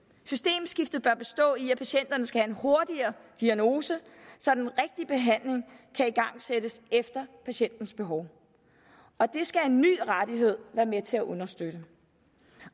systemskiftet bør bestå i at patienterne skal have en hurtigere diagnose så den rigtige behandling kan igangsættes efter patientens behov og det skal en ny rettighed være med til at understøtte